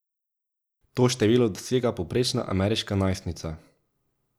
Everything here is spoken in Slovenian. To število dosega povprečna ameriška najstnica.